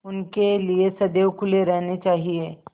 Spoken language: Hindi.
उनके लिए सदैव खुले रहने चाहिए